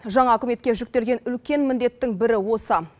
жаңа үкіметке жүктелген үлкен міндеттің бірі осы